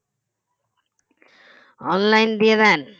online দিয়ে দেন